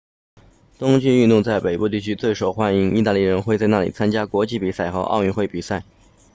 冬季运动在北部地区最受欢迎意大利人会在那里参加国际比赛和奥运会比赛